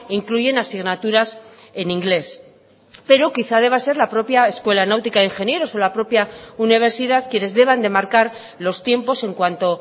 incluyen asignaturas en inglés pero quizá deba ser la propia escuela náutica de ingenieros o la propia universidad quienes deban de marcar los tiempos en cuanto